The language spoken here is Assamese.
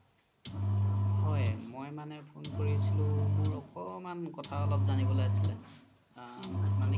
হয় মই মানে phone কৰিছিলো মোৰ অকমান কথা অলপ জানিব লে আছিলে আ